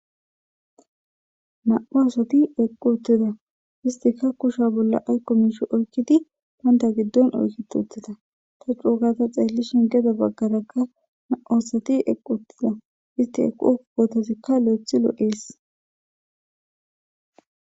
namu'u assati eqi utidda iisikka banitta kushe bolla aziko oyikki banita gidoni oyiketi utidda. Ta coo gada xelishini gedebagaraka namu'u asati eqi utida eti eqo eqozika loyithi loyesi